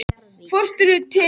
Fornustekkum